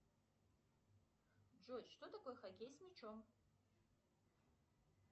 джой что такое хоккей с мячом